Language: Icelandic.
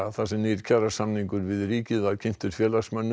sem nýr kjarasamningur við ríkið er kynntur félagsmönnum